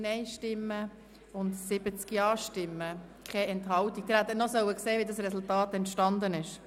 Sie hätten sehen sollen, wie dieses Resultat entstanden ist.